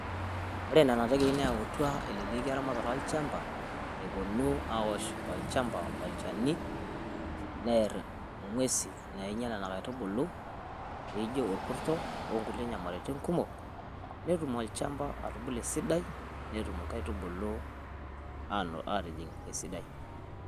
ore nena tekei neyauta eleleki erematere olchampa, epuonu aosh ilo shampa olchani, neer ing'uesi naing'ial inkaitubulu, neijo olkurto okulie nyamalitin kumok, netum olchampa atubulu esidai, netum inkaitubulu aatijing' esidai.